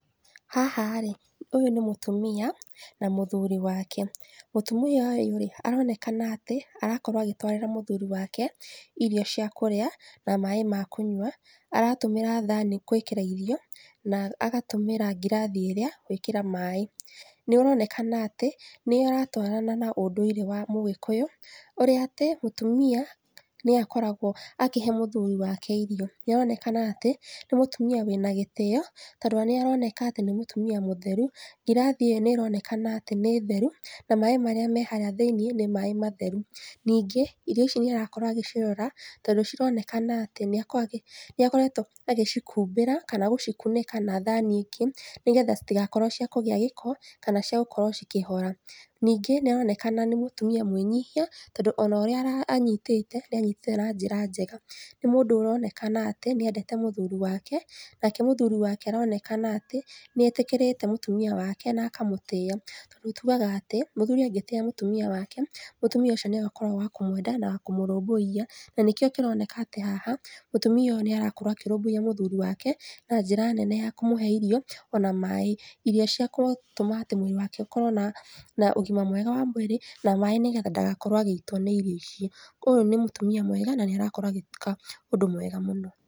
Haha rĩ, ũyũ nĩ mũtumia na mũthuri wake, mũtumia ũyũ rĩ, aronekana atĩ arakorwo agĩtwarĩra mũthuri wake irio cia kũrĩa na maai ma kũnywa, aratũmĩra thani gwĩkĩra irio na agatũmĩra ngirathi ĩrĩa gwĩkĩra maai. Nĩaronekana atĩ nĩaratwarana na ũndũire wa mũgĩkũyũ ũrĩa atĩ mũtumia nĩwe akoragwo akĩhe mũthuri wake irio, nĩaronekana atĩ nĩ mũtumia wĩna gĩtĩo na nĩaroneka atĩ nĩ mũtumia mũtheru ngirathi ĩyo nĩronekana atĩ nĩ theru na maaĩ marĩa me harĩa thĩiniĩ nĩ maai matheru, ningi, irio ici nĩarakorwo agĩcirora tondũ cironekana atĩ nĩakoretwo agĩcihumbĩra kana gũcikunĩka na thani ĩngĩ nĩgetha citigakorwo cia kũgĩa gĩko kana ciagũkorwo cikĩhora. Ningĩ, nĩaronekana nĩ mũtumia mwĩnyihia tondũ ona ũrĩa anyitĩte nĩanyitĩte na njĩra njega nĩ mũndũ ũronekana atĩ nĩendete mũthuri wake nake mũthuri wake aronekana atĩ nĩetĩkĩrĩte mũtumia wake na akamũtĩa, tugaga atĩ mũthuri angĩtĩa mũtumia wake, mũtumia ũcio nĩagũkorwo wa kũmwenda na kũmũrũmbũiya na nĩkĩo kĩroneka ati haha mũtumia ũyu nĩarakorwo akĩrũmbũiya mũthuri wake na njĩra nene ya kũmũhe irio ona maai, irio ciagũtũma atĩ mwĩrĩ wake ũkorwo na ũgima mwega wa mwĩrĩ na maai nĩgetha ndagakorwo agĩitwo nĩ irio icio, ũyũ nĩ mũtumia mwega na nĩarakorwo agĩka ũndũ mwega mũno.